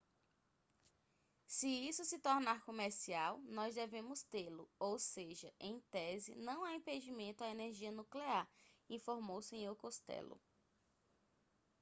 se isso se tornar comercial nós devemos tê-lo ou seja em tese não há impedimento à energia nuclear informou o senhor costello